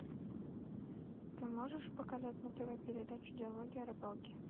ты можешь показать на тв передачу диалоги о рыбалке